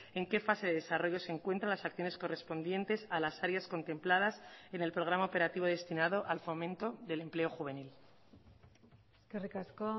en qué fase de desarrollo se encuentran las acciones correspondientes a las áreas contempladas en el programa operativo destinado al fomento del empleo juvenil eskerrik asko